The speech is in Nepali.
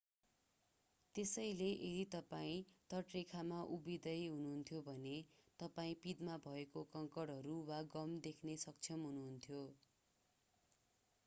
त्यसैले यदि तपाईं तटरेखामा उभिँदै हुनुहुन्थ्यो भने तपाईं पिँधमा भएका कङ्कडहरू वा गम देख्न सक्षम हुनुहुन्थ्यो